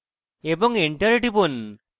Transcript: এবং enter টিপুন